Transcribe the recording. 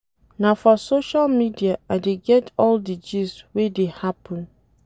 Na for social media I dey get all di gist wey dey happen.